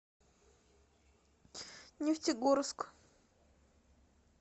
нефтегорск